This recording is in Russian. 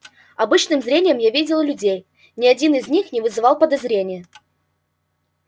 обычным зрением я видел людей ни один из них не вызывал подозрения